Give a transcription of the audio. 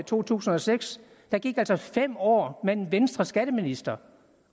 to tusind og seks gik der altså fem år med en venstreskatteminister